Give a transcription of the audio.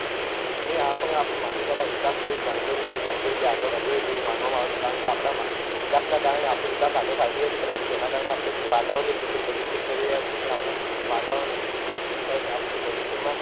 નહિ આ પણ આપણા માનવી દ્વારા વિકાસ બૌ જ ગાંડો રીતે આગળ વધી રહ્યો છે તેવી રીતે માનવામાં આવે છે કારણ કે આપડા વિકાસનાં કારણે આપણે વિકાસ આગળ સાધી રહ્યાં છીએ પરંતુ તેના કારણે આપડે વાતાવરણને કેટલું પ્રદુષિત કરી રહ્યાં છીએ અને આપણા વાતાવરણને દુષિત કરવાથી આપણને ભવિષ્યમાં